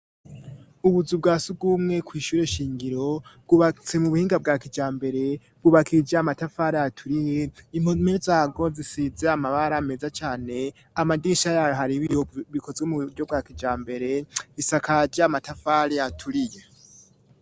Ubuzu bwa surwumwe k'wishure ishingiro bwubatse mu buhinga bwa kijambere bwubakishije amatafari aturiye, impome zabwo zisize amabara ameza cane, amadisha yayo hari bi bikozwe mu buryo bwa kijambere; isakaje amatafari aturiye.